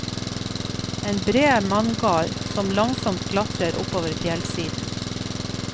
En bred manngard som langsomt klatrer oppover fjellsiden.